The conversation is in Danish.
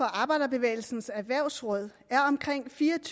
arbejderbevægelsens erhvervsråd